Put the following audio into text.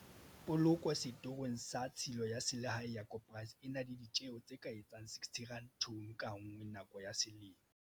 Poloko setorong sa tshilo ya selehae ya koporasi e na le ditjeo tse ka etsang R60 tone ka nngwe nako ya selemo.